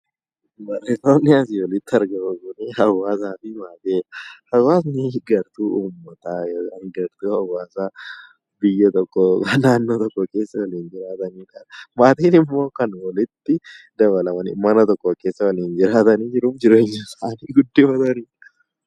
Maatiin gartuu uummataa yookiin hawaasaa tokkoo kan of keessaa qabudha. Maatiin immoo namoota mana tokko keessa waliin jiraatanii hariiroo waliin qabanidha.